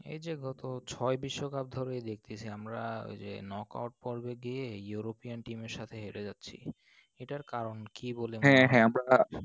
এই যে গত ছয় বিশ্বকাপ ধরেই দেখতেসি আমরা যে ওই knock out পর্বে গিয়েই european team এর সাথে হেরে যাচ্ছি। এটার কারণ কি বলে মনে হয়? হ্যাঁ হ্যাঁ আমরা